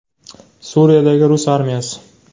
Suriyadagi rus armiyasi.